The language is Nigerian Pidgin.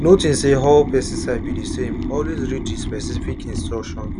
no think say all pesticide be the samealways read the specific instruction